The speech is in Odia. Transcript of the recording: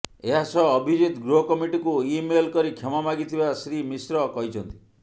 ଏହାସହ ଅଭିଜିତ୍ ଗୃହକମିଟିକୁ ଇମେଲ କରି କ୍ଷମା ମାଗିଥିବା ଶ୍ରୀ ମିଶ୍ର କହିଛନ୍ତି